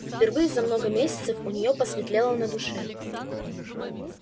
впервые за много месяцев у неё посветлело на душе